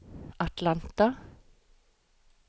Atlanta